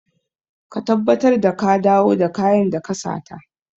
Ka tabbatar da ka dawo da kayan da ka sata!